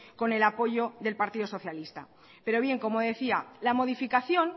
con el apoyo del partido socialista pero bien como decía la modificación